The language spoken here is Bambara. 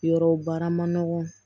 Yɔrɔw baara ma nɔgɔn